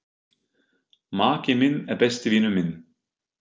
Maki minn er besti vinur minn.